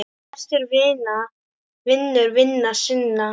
Besti vinur vina sinna.